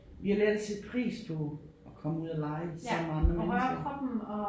Vi har lært at sætte pris på at komme ud og lege sammen med andre mennesker